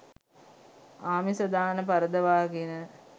ආමිස දාන පරදවාගෙන